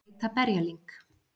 Til að reyta berjalyng